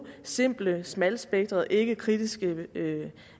simple smalspektrede ikkekritiske